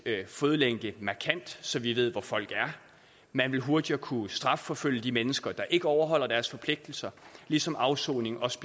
fodlænke markant så vi ved hvor folk er man vil hurtigere kunne strafforfølge de mennesker der ikke overholder deres forpligtelser ligesom afsoning også